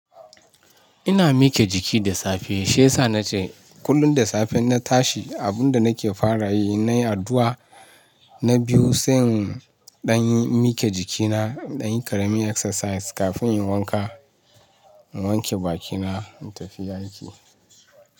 Ina mike jiki da safe. Shi yasa nace kullum da safe na tashi, abunda nake fara yi in nayi addu'a na biyu, sai in ɗan yi mike jikina, ɗan yi karami exercise kafin in yi wanka, in wanke bakina, in tafi aiki.